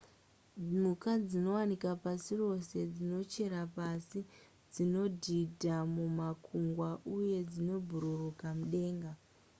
mhuka dzinowanikwa pasi rose dzinochera pasi dzinodhidha mumakungwa uye dzinobhururuka mudenga